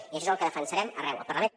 i això és el que defensarem arreu al parlament